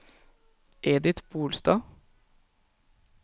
Edith Bolstad